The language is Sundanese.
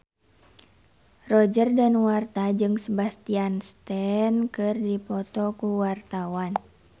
Roger Danuarta jeung Sebastian Stan keur dipoto ku wartawan